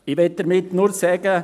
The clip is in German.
Ich möchte damit nur sagen: